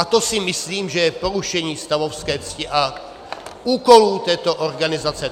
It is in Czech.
A to si myslím, že je porušení stavovské cti a úkolů této organizace.